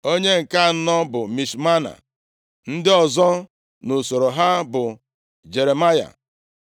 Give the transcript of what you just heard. Onye nke anọ bụ Mishmana. Ndị ọzọ nʼusoro ha bụ, Jeremaya,